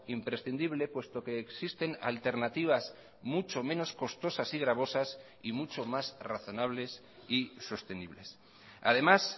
imprescindible puesto que existen alternativas mucho menos costosas y gravosas y mucho más razonables y sostenibles además